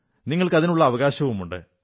നിങ്ങൾക്ക് അതിനുള്ള അവകാശമുണ്ട്